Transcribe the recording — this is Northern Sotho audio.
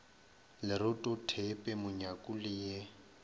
leroto theepe monyaku le ye